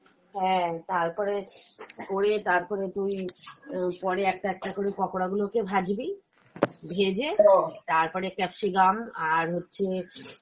হ্যাঁ, তারপরে হয়ে তারপরে তুই আহ পরে একটা একটা করে পকোড়া গুলো কে ভাজবি , ভেজে তারপরে capsicum আর হচ্ছে